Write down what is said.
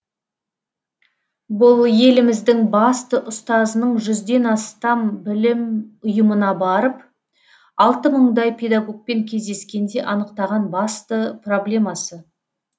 бұл еліміздің басты ұстазының жүзден астам білім ұйымына барып алты мыңдай педагогпен кездескенде анықтаған басты проблемасы